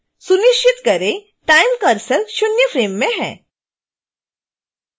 सुनिश्चित करें कि time cursor शून्य फ्रेम में है